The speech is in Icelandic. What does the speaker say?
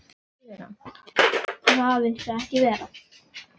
Og það viltu ekki verða.